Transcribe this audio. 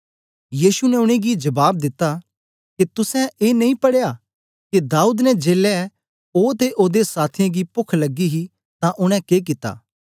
यीशु ने उनेंगी जबाब दिता के तुसें ए नेई पढ़या के दाऊद ने जेलै ओ ते ओदे साथियें गी पोख लगी ही तां उनै के कित्ता